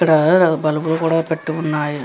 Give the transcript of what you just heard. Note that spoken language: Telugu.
ఇక్కడ పరుపులు కూడా పెట్టి ఉన్నాయి.